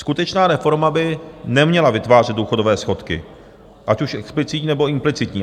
Skutečná reforma by neměla vytvářet důchodové schodky, ať už explicitní, nebo implicitní.